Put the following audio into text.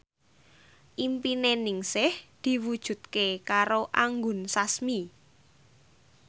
impine Ningsih diwujudke karo Anggun Sasmi